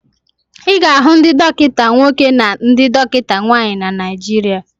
Ị ga-ahụ ndị dọkịta nwoke na ndị dọkịta nwaanyị na Naijiria.